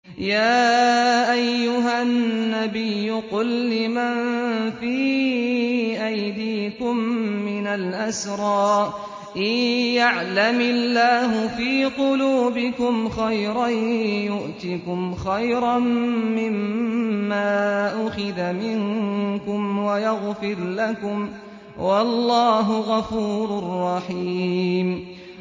يَا أَيُّهَا النَّبِيُّ قُل لِّمَن فِي أَيْدِيكُم مِّنَ الْأَسْرَىٰ إِن يَعْلَمِ اللَّهُ فِي قُلُوبِكُمْ خَيْرًا يُؤْتِكُمْ خَيْرًا مِّمَّا أُخِذَ مِنكُمْ وَيَغْفِرْ لَكُمْ ۗ وَاللَّهُ غَفُورٌ رَّحِيمٌ